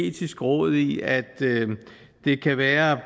etiske råd i at det kan være